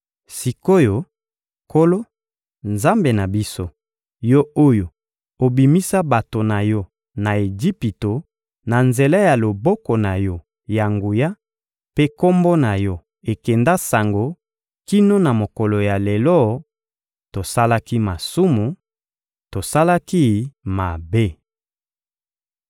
Sik’oyo, Nkolo, Nzambe na biso, Yo oyo obimisa bato na Yo na Ejipito na nzela ya loboko na Yo ya nguya mpe Kombo na Yo ekenda sango kino na mokolo ya lelo, tosalaki masumu, tosalaki mabe!